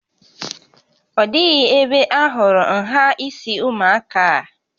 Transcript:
Ọ dịghị ebe ahụrụ nhà isi ụmụaka a